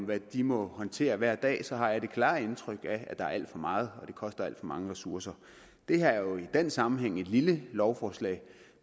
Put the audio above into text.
hvad de må håndtere hver dag så har jeg det klare indtryk at der er alt for meget og at det koster alt for mange ressourcer det her er jo i den sammenhæng et lille lovforslag